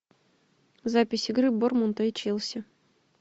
запись игры борнмута и челси